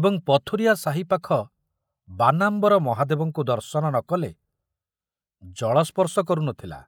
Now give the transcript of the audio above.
ଏବଂ ପଥୁରିଆ ସାହି ପାଖ ବାନାମ୍ବର ମହାଦେବଙ୍କୁ ଦର୍ଶନ ନ କଲେ ଜଳସ୍ପର୍ଶ କରୁ ନଥିଲା।